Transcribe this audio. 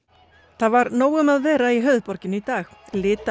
það var nóg um að vera í höfuðborginni í dag